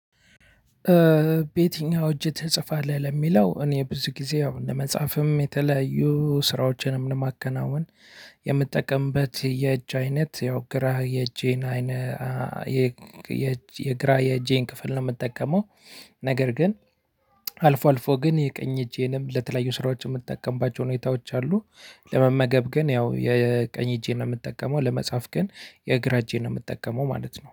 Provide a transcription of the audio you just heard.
በየትኛው እጅ ትጽፋለህ ለሚለው እኔ ብዙ ጊዜ አሁን ለመጻፍም የተለያዩ ስራዎችንም ለማከናወን የምጠቀምበት የእጅ አይነት ያው ግራ የእጄን የግራ የእጄን ክፍል ነው የምጠቀመው። ነገር ግን አልፎ አልፎ ግን የቀኝ እጄንም ለተለያዩ ስራዎች የምጠቀምባቸው ሁኔታዎች አሉ። ለመመገብ ግን ያው የቀኝ እጄን ነው የምጠቀመው ለመጻፍ ግን የእግራ እጄን ነው የምጠቀመው ማለት ነው